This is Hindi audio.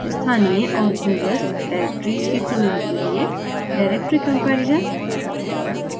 स्थानीय और दूरस्थ डॉयरेक्ट्रिज़ की तुलना के लिए directory comparison directory तुलना